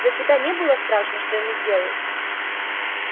за себя не было страшно что ему сделают